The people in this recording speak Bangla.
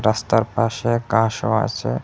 রাস্তার পাশে কার সব আছে।